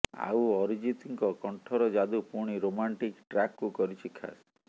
ଆଉ ଅରିଜିତଙ୍କ କଣ୍ଠର ଯାଦୁ ପୁଣି ରୋମାଣ୍ଟିକ ଟ୍ରାକକୁ କରିଛି ଖାସ୍